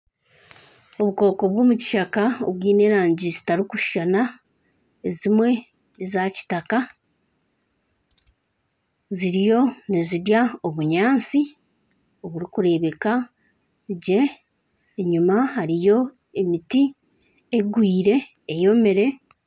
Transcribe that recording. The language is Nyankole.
Obukooko bw'omu kishaka obwine erangi zitarikushushana, ezimwe eza kitaka. Ziriyo nizirya obunyaatsi oburikureebeka gye. Enyima hariyo emiti egwire eyomire.